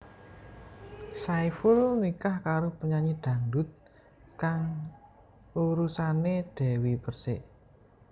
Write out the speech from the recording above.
Saiful nikah karo penyanyi dangdut kang urusané Dewi Perssik